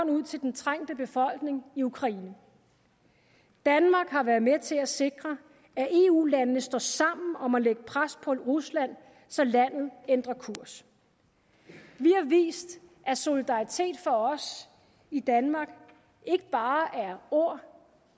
ud til den trængte befolkning i ukraine danmark har været med til at sikre at eu landene står sammen om at lægge pres på rusland så landet ændrer kurs vi har vist at solidaritet for os i danmark ikke bare er ord